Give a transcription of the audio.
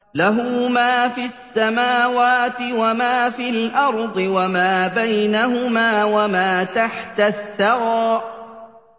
لَهُ مَا فِي السَّمَاوَاتِ وَمَا فِي الْأَرْضِ وَمَا بَيْنَهُمَا وَمَا تَحْتَ الثَّرَىٰ